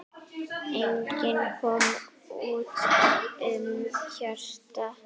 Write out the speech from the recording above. Enginn kom út með hjarta.